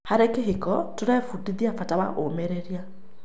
Harĩ kĩhiko, tũrebundithia bata wa ũmĩrĩria.